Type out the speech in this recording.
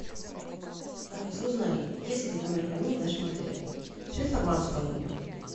алиса узнай есть ли камера хранения в нашем отеле всю информацию про нее